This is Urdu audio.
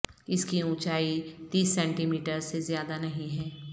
اس کی اونچائی تیس سینٹی میٹر سے زیادہ نہیں ہے